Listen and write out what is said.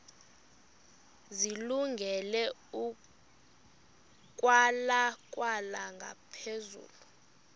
zilungele ukwalekwa ngaphezulu